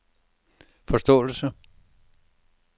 forståelse